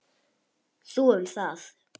Þú um það.